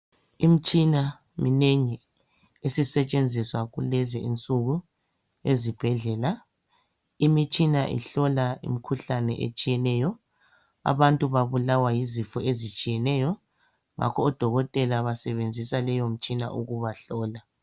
Imitshina minengi esisetshenziswa kulezinsuku ezibhedlela. Imitshina ihlola imikhuhlane etshiyeneyo. Abantu babulawa yizifo ezitshiyeneyo ngakho odokotela basebenzisa leyo mitshina ukuba hlola.